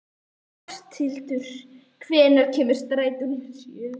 Áshildur, hvenær kemur strætó númer sjö?